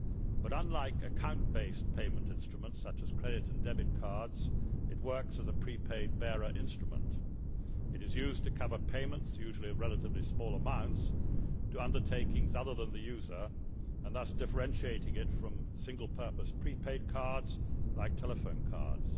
But, unlike account based payment instruments, such as credit and debit cards, it works as a pre paid bearer instrument. It is used to cover payments usually of relatively small amounts to undertakings other than the user, thus differentiating it from single purpose pre paid cards like telephone cards.